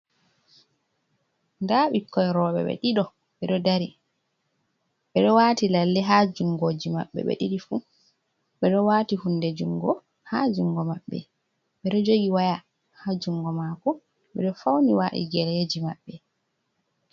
Nda ɓikkoi rowɓe ɓe ɗiɗo, ɓe ɗo dari. Ɓe ɗo waati lalle ha jungoji maɓɓe ɓe ɗiɗi fu. Ɓe ɗo wati hunde jungo ha jungo maɓɓe. Ɓe ɗo jogi waya ha jungo maako. Ɓe ɗo fauni waɗi geleji maɓɓe.